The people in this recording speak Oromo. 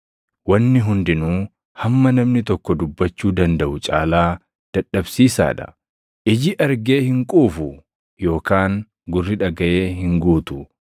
Wanni hundinuu hamma namni tokko dubbachuu dandaʼu caalaa dadhabsiisaa dha. Iji argee hin quufu; yookaan gurri dhagaʼee hin guutu.